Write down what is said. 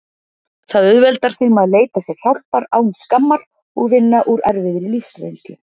Það auðveldar þeim að leita sér hjálpar án skammar og vinna úr erfiðri lífsreynslu.